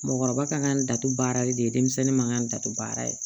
Mɔgɔkɔrɔba kan ka n da to baarali de ye denmisɛnnin man kan ka datugu baara ye